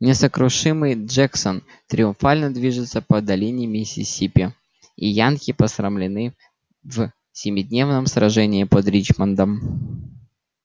несокрушимый джексон триумфально движется по долине миссисипи и янки посрамлены в семидневном сражении под ричмондом